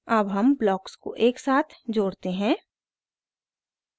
अब हम ब्लॉक्स को एक साथ जोड़ते हैं